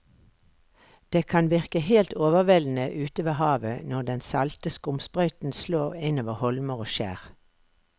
Det kan virke helt overveldende ute ved havet når den salte skumsprøyten slår innover holmer og skjær.